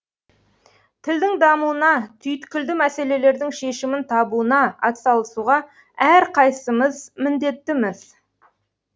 тілдің дамуына түйткілді мәселелердің шешімін табуына атсалысуға әрқайсымыз міндетті